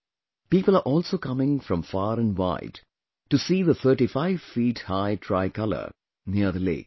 People are also coming from far and wide to see the 35 feet high tricolor near the lake